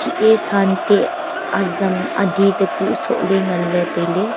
e santeh azam ade takuh sohley nganley tailey.